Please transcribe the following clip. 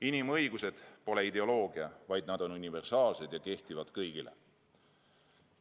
Inimõigused pole ideoloogia, vaid nad on universaalsed ja kehtivad kõigi kohta.